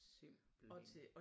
Simpelthen